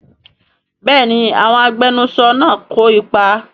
Bẹ́ẹ̀ni àwọn agbẹnusọ náà kò ipa